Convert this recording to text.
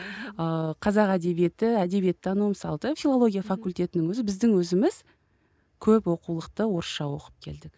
ыыы қазақ әдебиеті әдебиеттану мысалы да филология факультетінің өзі біздің өзіміз көп оқулықты орысша оқып келдік